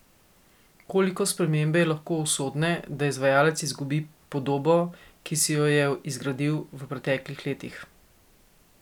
Koliko spremembe je lahko usodne, da izvajalec izgubi podobo, ki si jo je izgradil v preteklih letih?